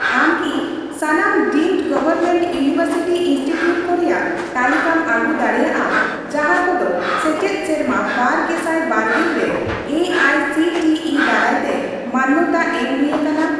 ᱟᱢ ᱠᱤ ᱥᱟᱱᱟᱢ ᱰᱤᱢᱰ ᱜᱚᱵᱷᱚᱨᱢᱮᱱᱴ ᱤᱣᱱᱤᱵᱷᱟᱨᱥᱤᱴᱤ ᱤᱱᱥᱴᱤᱴᱤᱣᱩᱴ ᱠᱚ ᱨᱮᱭᱟᱜ ᱛᱟᱹᱞᱤᱠᱟᱢ ᱟᱹᱜᱩ ᱫᱟᱲᱮᱭᱟᱜᱼᱟ ᱡᱟᱦᱟᱸ ᱠᱚᱫᱚ ᱥᱮᱪᱮᱫ ᱥᱮᱨᱢᱟ ᱵᱟᱨ ᱜᱮᱥᱟᱭ ᱵᱟᱨᱜᱮᱞ ᱨᱮ A I C T E ᱫᱟᱨᱟᱭᱛᱮ ᱢᱟᱱᱱᱚᱛᱟ ᱮᱢᱚ ᱦᱩᱭ ᱟᱠᱟᱱᱟ ?